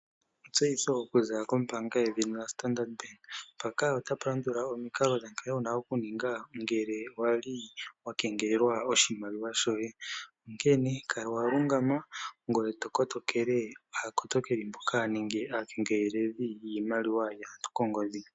Etseyitho okuza kombaanga yaStandard Bank. Mpaka otapu landula omikalo dha nkene wuna okuninga ngele wali wa kwngelelwa oahimaliwa shoye. Onkene kala wa kotoka, ngoye to kotokele aakotokeli mboka nenge aakengeleli mboka haya kengelele iimaliwa yaantu koongodhi.